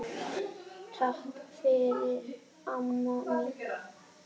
Takk fyrir, amma mín.